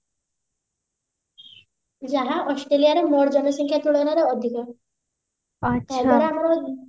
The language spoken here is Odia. ଯାହା ଅଷ୍ଟ୍ରେଲିଆରେ ମୋଟ ଜନସଂଖ୍ୟା ତୁଳନାରେ ଅଧିକ ସେଇଗୁଡା ଆମର